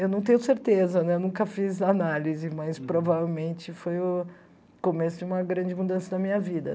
Eu não tenho certeza, eu nunca fiz análise, mas provavelmente foi o começo de uma grande mudança na minha vida.